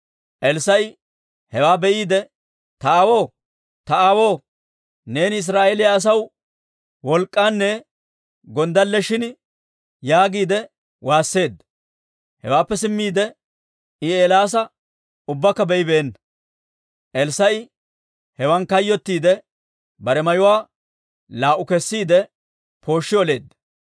Elssaa'i hewaa be'iide, «Ta aawoo, Ta aawoo! Neeni Israa'eeliyaa asaw wolk'k'aanne gonddalle shin!» yaagiide waasseedda. Hewaappe simmiide, I Eelaasa ubbakka be'ibeenna. Elssaa'i hewan kayyottiide, bare mayuwaa laa"u kessiide, pooshshi oleedda.